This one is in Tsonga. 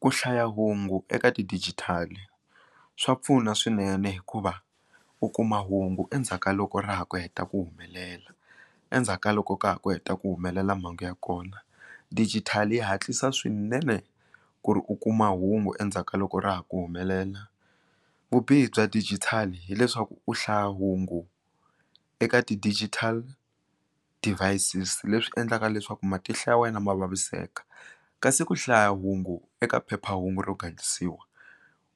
Ku hlaya hungu eka ti dijithali swa pfuna swinene hikuva u kuma hungu endzhaku ka loko ra ha ku heta ku humelela endzhaku ka loko ka ha ku heta ku humelela mhangu ya kona dijithali yi hatlisa swinene ku ri u kuma hungu endzhaku ka loko ra ha ku humelela vubihi bya dijithali hileswaku u hlaya hungu eka ti digital devices leswi endlaka leswaku matihlo ya wena ma vaviseka kasi ku hlaya hungu eka phephahungu ro gandlisiwa